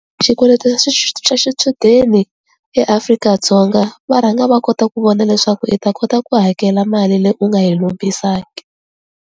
Xikweleti xa xa xichudeni eAfrika-Dzonga va rhanga va kota ku vona leswaku i ta kota ku hakela mali leyi u nga yi lombisa ke.